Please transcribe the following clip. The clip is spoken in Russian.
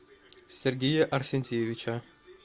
сергея арсентьевича